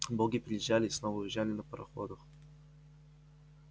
боги приезжали и снова уезжали на пароходах